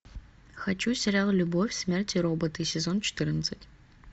хочу сериал любовь смерть и роботы сезон четырнадцать